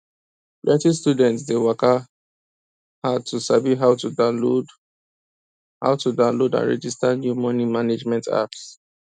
plenty students dey waka hard to sabi how to download how to download and register new money management apps